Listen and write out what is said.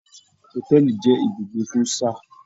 Hotẹẹli jẹ ibùgbé fun sáà sí.